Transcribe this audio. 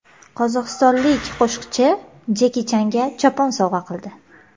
Qozog‘istonlik qo‘shiqchi Jeki Changa chopon sovg‘a qildi.